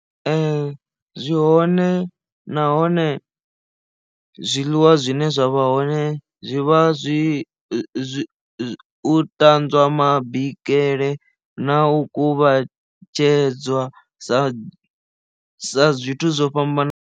Ee zwi hone nahone zwiḽiwa zwine zwavha hone zwi vha zwi u ṱanzwa ma bikele na u kuvhatedzwa sa sa zwithu zwo fhambanaho.